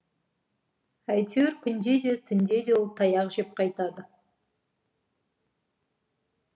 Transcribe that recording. әйтеуір күнде де түнде де ол таяқ жеп қайтады